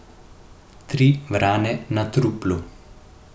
Tri vrane na truplu.